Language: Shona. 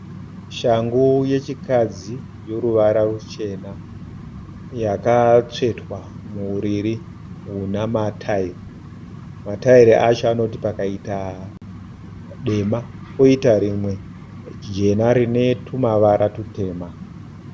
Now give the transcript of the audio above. Shangu yechikadzi yoruvara ruchena yakatsvetwa muuriri huna mataira. Mataira acho anoti pakaita dema poita rimwe jena rine tumavara tutema.